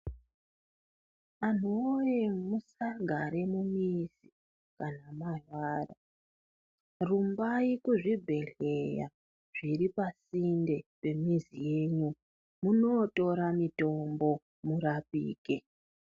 Anhu woye musagara mumizi kana marwara rumbai kuzvibhehleya zviri pasinde pemuzi yenyu munotora mutombo murapike .